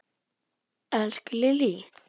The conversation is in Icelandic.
Elsku Lillý!